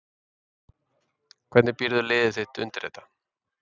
Hvernig býrðu liðið þitt undir þetta?